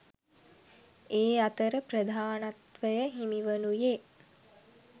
ඒ අතර ප්‍රධානත්වය හිමිවනුයේ